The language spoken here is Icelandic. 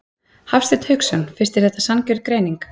Hafsteinn Hauksson: Finnst þér þetta sanngjörn greining?